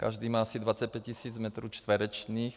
Každý má asi 25 tisíc metrů čtverečních.